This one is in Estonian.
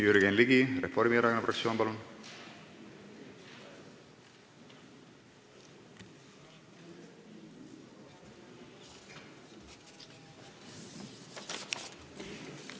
Jürgen Ligi Reformierakonna fraktsioonist, palun!